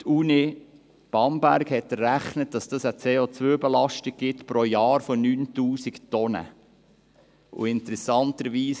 Die Uni Bamberg hat errechnet, dass dies eine CO-Belastung von 9000 Tonnen pro Jahr ergibt.